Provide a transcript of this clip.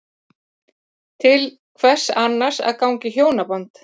Til hvers annars að ganga í hjónaband?